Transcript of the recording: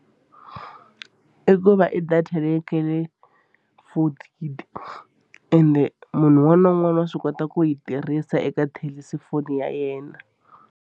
I ku va i data leyi nga le fonini and munhu un'wana na un'wana wa swi kota ku yi tirhisa eka thelesifoni ya yena.